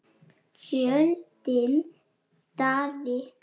Fjölnir Daði.